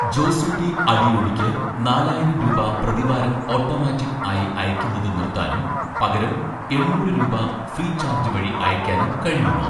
ജോസൂട്ടി അടിയോടിക്ക് നാലായിരം രൂപ പ്രതിവാരം ഓട്ടോമാറ്റിക്ക് ആയി അയയ്ക്കുന്നത് നിർത്താനും, പകരം എണ്ണൂറ് രൂപ ഫ്രീചാർജ് വഴി അയയ്ക്കാനും കഴിയുമോ